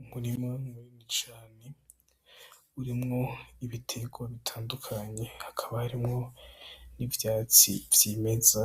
Umurima munini cane urimwo ibiterwa bitandukanye ,hakaba harimwo n'ivyatsi vyimeza,